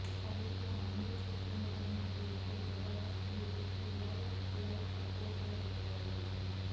పబ్లిక్లో అందరూ చూస్తుండగానే ఓ యువకుడు జబర్దస్త్ బ్యూటీకి లవ్ లవ్ ప్రపోజల్ పెట్టాడు